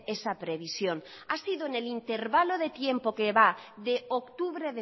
esa previsión ha sido en el intervalo de tiempo que va de octubre